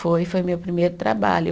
Foi, foi meu primeiro trabalho.